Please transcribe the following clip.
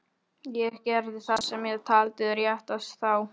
Vafalaust fer það eftir ásigkomulagi þeirra við fundinn.